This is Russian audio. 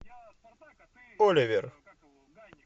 оливер